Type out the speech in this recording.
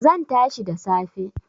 Zan tashi da safe